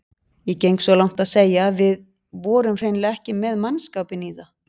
Ég geng svo langt að segja að við vorum hreinlega ekki með mannskapinn í það.